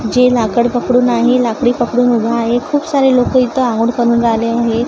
जे लाकड पकडून आहे लाकडी पकडून उभा आहे खूप सारे लोकं इथे आंघोळ करून राहिले आहे.